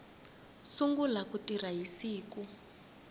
sungula ku tirha hi siku